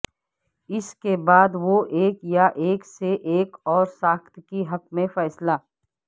اس کے بعد وہ ایک یا ایک سے ایک اور ساخت کے حق میں فیصلہ